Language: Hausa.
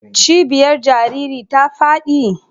Cibiyar jaririn ta faɗi?